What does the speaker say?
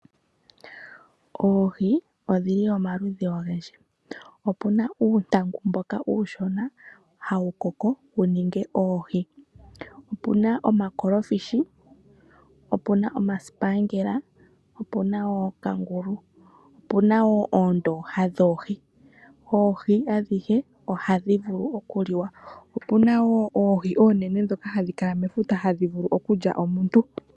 Oohi odhili omaludhi ogendji opuna uuntangu mboka uushona hawu koko wuninge oohi, opuna omakolofishi, opuna omasipangela, opuna wo okangulu, opuna wo oondoha dhoohi. Oohi adhihe ohadhi vulu okuliwa, opuna wo oohi onene dhoka hadhi kala mefuta hadhi vulu okulya omuntu.